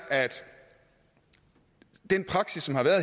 den praksis som har været